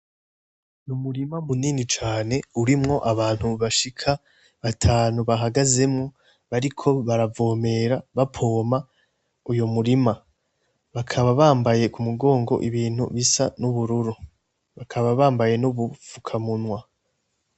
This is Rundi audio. Ni umurima munini cane urimwo abantu bashika atanu bahagazemwo bariko baravomera bapoma uyo murima bakaba bambaye ku mugongo ibintu bisa n'ubururu bakaba bambaye n'ubupfukamunwa.